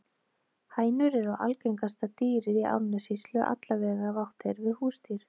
Hænur eru algengasta dýrið í Árnessýslu, alla vega ef átt er við húsdýr.